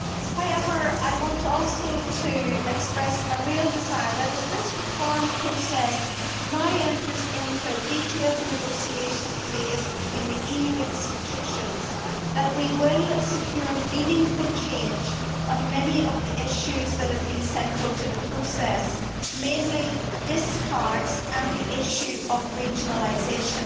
However, I want also to express a real desire, as this reform process now enters into a detailed negotiation phase between the EU institutions, that we will secure meaningful changes on many of the issues that have been central to the process mainly discards and the issue of regionalisation.